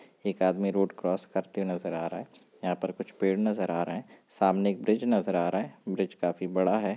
एक आदमी road cross नजर आ रहा है। यहां पर कुछ पैड नजर आ रहा है। सामने एक ब्रिज नजर आ रहा है। ब्रिज काफी बड़ा है।